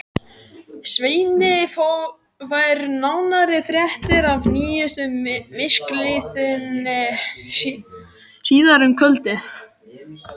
Svenni fær nánari fréttir af nýjustu misklíðinni síðar um kvöldið.